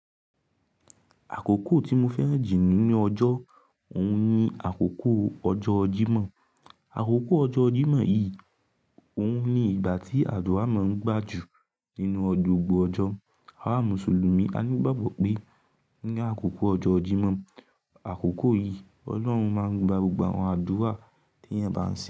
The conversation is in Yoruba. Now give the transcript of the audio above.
Àkókò tí mo fẹ́ràn jù nínú ọjọ́ òhun ni àkókò ọjọ́ Jímọ̀. Àkókò ọjọ́ Jímọ̀ yìí òhun ni ìgbà tí àdúrà máa ń gbájú nínú gbọgbọ̀ ọjọ́. Awa Mùsùlùmí a ní gbàgbọ́ pé ní àkókò ọjọ́ Jímọ̀, àkókò yìí Ọlọ́run máa ń gba gbogbo àwọn àdúrà tí eeyan bá ń ṣe.